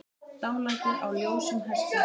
Dálæti á ljósum hestum